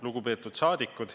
Lugupeetud rahvasaadikud!